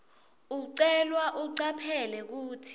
ucelwa ucaphele kutsi